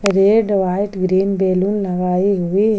Red white green balloon लगाई हुई है।